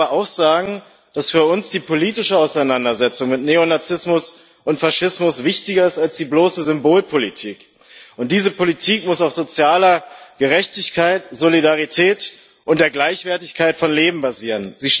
Ich will aber auch sagen, dass für uns die politische Auseinandersetzung mit Neonazismus und Faschismus wichtiger ist als bloße Symbolpolitik, und diese Politik muss auf sozialer Gerechtigkeit, Solidarität und der Gleichwertigkeit von Leben basieren.